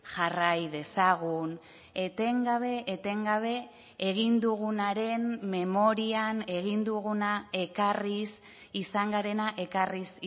jarrai dezagun etengabe etengabe egin dugunaren memorian egin duguna ekarriz izan garena ekarriz